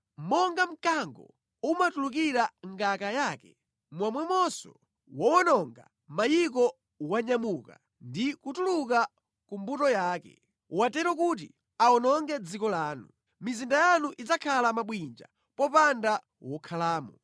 Monga mkango umatulukira mʼngaka yake momwemonso wowononga mayiko wanyamuka ndi kutuluka ku mbuto yake. Watero kuti awononge dziko lanu. Mizinda yanu idzakhala mabwinja popanda wokhalamo.